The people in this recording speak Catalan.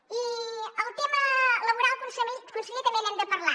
i el tema laboral conseller també n’hem de parlar